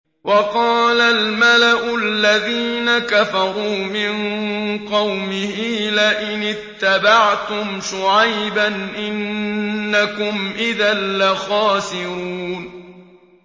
وَقَالَ الْمَلَأُ الَّذِينَ كَفَرُوا مِن قَوْمِهِ لَئِنِ اتَّبَعْتُمْ شُعَيْبًا إِنَّكُمْ إِذًا لَّخَاسِرُونَ